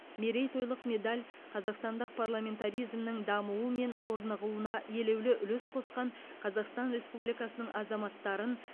мерейтойлық медаль қазақстандық парламентаризмнің дамуы мен орнығуына елеулі үлес қосқан қазақстан республикасының азаматтарын